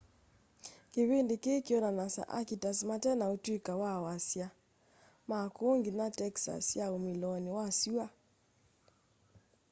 kivindi kii kyoonanasya akitas mate na utuika ma wasya makuu nginya texas ya umiloni wa sua